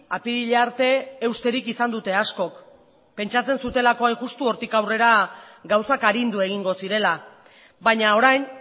apirila arte eusterik izan dute askok pentsatzen zutelako hain justu hortik aurrera gauzak arindu egingo zirela baina orain